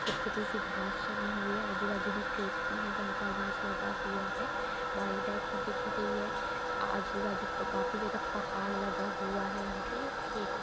छोटी-छोटी सी घास जमी हुई है आजू-बाजू में खेत भी है जहाँ पे अनाज लगा हुआ है बागी टाइप में दिख रही है आजू-बाजू प काफी ज्यादा पहाग लगा हुआ है यहाँ पे खेत है।